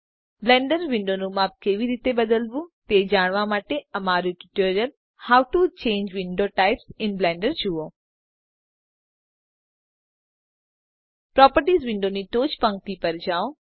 Blender વિન્ડોનું માપ કેવી રીતે બદલવું તે જાણવા માટે અમારૂ tutorial how to change window types in Blender જુઓ પ્રોપર્ટીઝ વિન્ડોની ટોચની પંક્તિ પર જાઓ